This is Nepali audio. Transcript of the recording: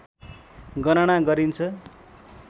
गणना गरिन्छ